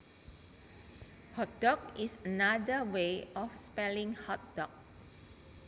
Hotdog is another way of spelling hot dog